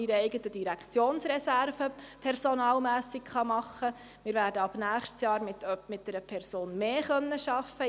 Gleichzeitig hätte man sie aber verknüpfen müssen.